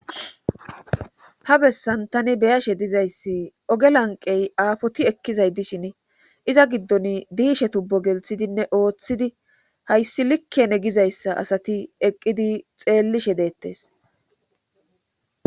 Ha bessan tani beyashe dizayssi oge lanqey aafoti ekkizay dishin iza giddon diishe tubbo gelthidinne ooththidi hayssi likkene gizayssa asati eqqidi xeellishe deettes.